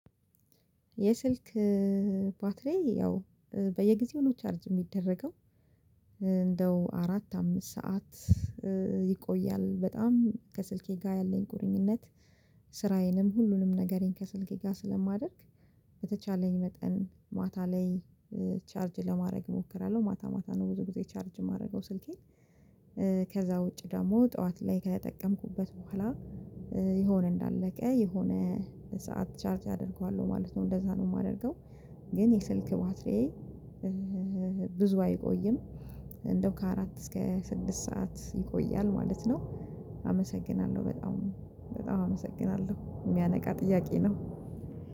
የስልክ ባትሪ ያው በየጊዜው ነው ቻርጅ የሚደረገው። እንደው አራት አምስት ሰዓት። ይቆያል በጣም ከስልኬ ጋር ያለኝ ቁርኝነት። ስራዬንም ሁሉንም ነገሬን ከስልኬ ጋር ስለማደርግ በተቻለኝ መጠን ማታ ላይ ቻርጅ ለማድረግ እሞክራለሁ። ማታ ማታ ነው ብዙ ጊዜ ቻርጅ የማደርገው ስልኬን። ከዛ ውጪ ደግሞ ጠዋት ላይ ከተጠቀምኩበት በኋላ የሆነ እንዳለቀ የሆነ ሰዓት ቻርጅ አደርገዋለሁ ማለት ነው እንደዛ ነው የማደርገው። ግን የስልክ ባትሪዬ ብዙ አይቆይም። እንደው ከአራት እስከ ስድስት ሰዓት ይቆያል ማለት ነው። አመሰግናለሁ በጣም በጣም አመሰግናለሁ። የሚያነቃ ጥያቄ ነው።